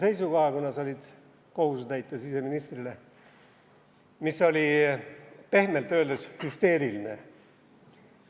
Siis sa kirjutasid valitsuse nimel seisukoha, mis oli pehmelt öeldes hüsteeriline.